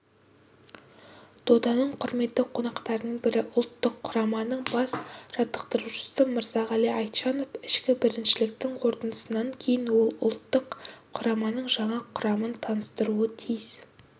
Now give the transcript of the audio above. доданың құрметті қонақтарының бірі ұлттық құраманың бас жаттықтырушысы мырзағали айтжанов ішкі біріншіліктіңқорытындысынан кейін ол ұлттық құраманың жаңа құрамын таныстыруы тиіс